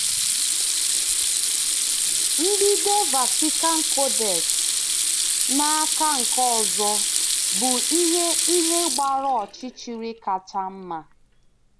Mbido Vatican Codex, n’aka nke ọzọ, bụ ihe ihe gbara ọchịchịrị kacha mma.